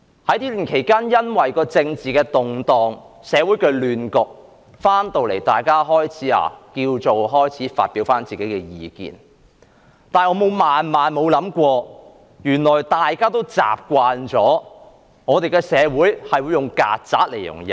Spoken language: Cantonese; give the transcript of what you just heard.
這段期間，政治動盪，社會出現亂局，大家回到這裏，開始發表個人意見，而我萬萬沒想過，原來大家已習慣了我們的社會會用"曱甴"來形容人。